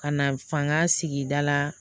Ka na fanga sigida la